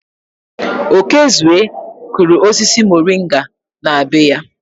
Okezue kụrụ osisi moringa na be ya.